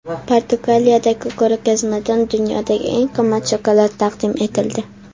Portugaliyadagi ko‘rgazmada dunyodagi eng qimmat shokolad taqdim etildi.